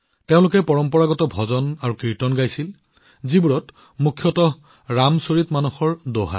তেওঁলোকে পৰম্পৰাগত ভজনকীৰ্তন গাইছিল মুখ্যতঃ ৰামচৰিতমানসৰ দোহা